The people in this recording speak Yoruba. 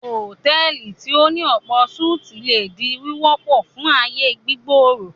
Hotẹ́ẹ́lì tí o ní ọ̀pọ̀-súti le di wíwọpọ fun aáyè gbígbòòrò.